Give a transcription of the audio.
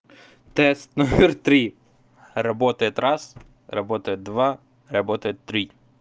тест номер три работает раз работает два работает три